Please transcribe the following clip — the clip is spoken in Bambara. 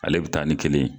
Ale bɛ taa ni kelen ye